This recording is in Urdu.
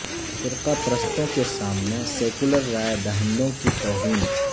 فرقہ پرستوں کے سامنے سیکولر رائے دہندوں کی توہین